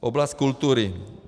Oblast kultury.